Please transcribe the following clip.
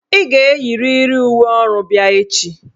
Ị ga-eyiriri uwe ọrụ bịa echi"!